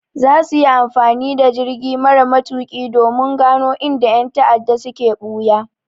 Za su yi amfani da jirgi mara matuƙi domin gano inda ƴan ta'adda suke ɓuya.